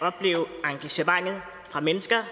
at opleve engagementet fra mennesker